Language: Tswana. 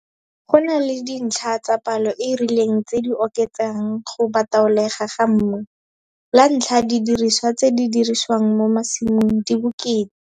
Go na le dintlha tsa palo e e rileng tse di oketsang go bataolegwa ga mmu. La ntlha, didiriswa tse di dirisiwang mo masimong di bokete.